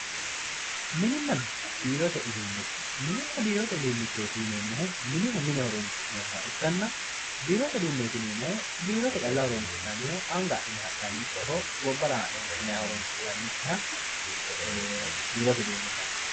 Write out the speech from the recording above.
mininna biirote uduunicho muninna biirote uduunichooti yineemohu minihu mine horonsi'neemoha ikkanna biirote uduuneeti yineemohu biirote calla horonsi'nanniho anga adhine ha'nanikkiho gobara haa'ne fushinay horonsi'nanikkiha biirote uduune yinanni.